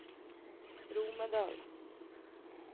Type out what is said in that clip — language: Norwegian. Romedal